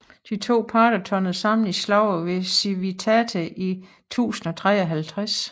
De to parter tørnede sammen i slaget ved Civitate i 1053